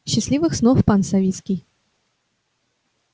счастливых снов пан савицкий